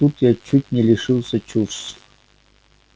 вот тут я чуть не лишилась чувств